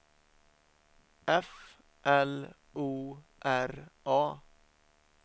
F L O R A